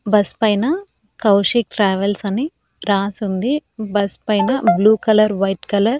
bus పైన Kaushik travels అని రాసుంది బస్ పైన బ్లూ కలర్ వైట్ కలర్ --